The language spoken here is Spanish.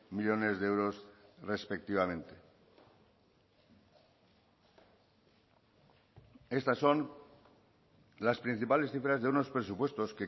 millónes de euros respectivamente estas son las principales cifras de unos presupuestos